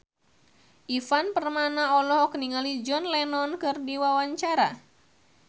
Ivan Permana olohok ningali John Lennon keur diwawancara